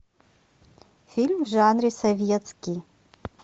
фильм в жанре советский